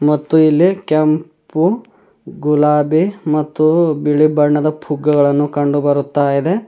ಮತ್ತು ಇಲ್ಲಿ ಕೆಂಪು ಗುಲಾಬಿ ಮತ್ತು ಬಿಳಿ ಬಣ್ಣದ ಪುಗ್ಗಗಳನ್ನು ಕಂಡುಬರುತ್ತಾ ಇದೆ.